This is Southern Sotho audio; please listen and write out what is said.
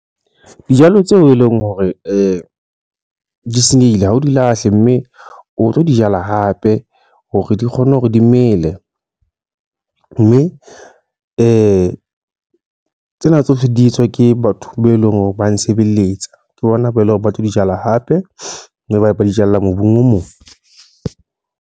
Dijalo tseo e leng hore di senyehile. Ha o di lahle mme o tlo di jala hape. Hore di kgone hore di mele. Mme tsena tsohle di etswa ke batho be eleng hore ba nsebeletsa. Ke bona bo eleng hore ba tlo di jala hape, mme ba ba di jala mobung o mong.